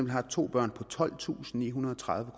har to børn på tolvtusinde og nihundrede og tredive